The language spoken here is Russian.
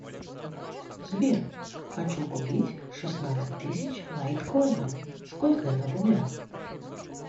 сбер хочу купить шестнадцать тысяч лайткоинов сколько это в рублях